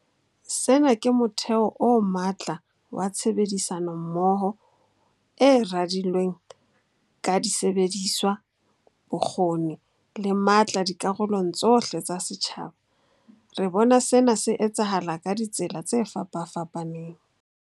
Sena ke motheo o matla wa tshebedisano mmoho e radilweng ka disebediswa, bokgoni le matla dikarolong tsohle tsa setjhaba. Re bona sena se etsahala ka ditsela tse fapafapaneng.